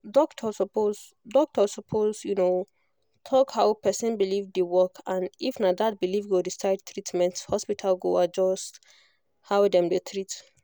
doctor suppose doctor suppose talk how person belief dey work and if na that belief go decide treatment hospital go adjust how dem dey treat